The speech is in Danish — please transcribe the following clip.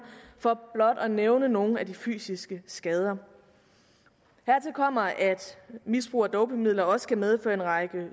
for blot at nævne nogle af de fysiske skader hertil kommer at misbrug af dopingmidler også kan medføre en række